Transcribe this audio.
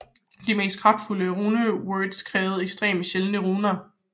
De mest kraftfulde runewords krævede ekstremt sjældne runer